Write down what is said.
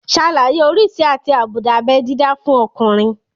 Ṣàlàyé oríṣi àti àbùdá abé dídá fún ọkùnrin